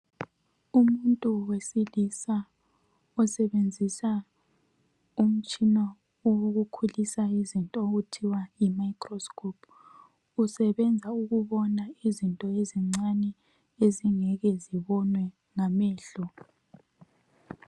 Umuntu wesilisa osebenzisa umtshina owokukhulisa izinto okuthiwa yimicroscope usebenza ukubona izinto ezincane ezingeke zibonwe ngamehlo.